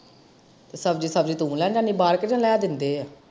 ਸਬਜ਼ੀ ਸੁਬਜੀ ਤੂੰ ਲੈਣ ਜਾਂਦੀ ਆ ਬਾਹਰ ਕੇ ਲਿਆ ਦਿੰਦੇ ਆ?